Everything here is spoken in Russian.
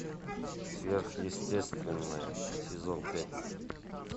сверхъестественное сезон пять